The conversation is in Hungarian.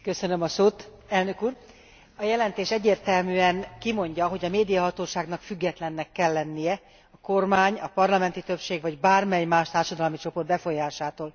A jelentés egyértelműen kimondja, hogy a médiahatóságnak függetlennek kell lennie a kormány, a parlamenti többség vagy bármely más társadalmi csoport befolyásától.